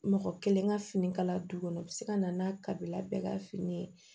Mɔgɔ kelen ka fini kala du kɔnɔ u bɛ se ka na n'a kabila bɛɛ ka fini ye